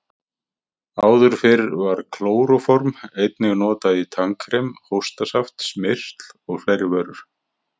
Áður fyrr var klóróform einnig notað í tannkrem, hóstasaft, smyrsl og fleiri vörur.